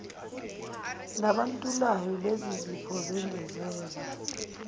nabantulayo lezizipho zengezela